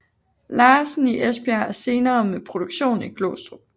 Larsen i Esbjerg og senere med produktion i Glostrup